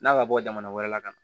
N'a ma bɔ jamana wɛrɛ la ka na